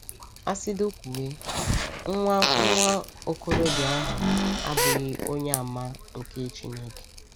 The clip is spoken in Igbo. Asịdị kwuwe, nwa nwa okorobịa ahụ abụghị Onyeàmà nke Chineke.